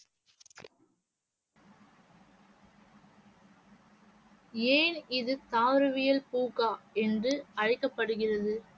ஏன் இது தாவரவியல் பூங்கா என்று அழைக்கப்படுகிறது?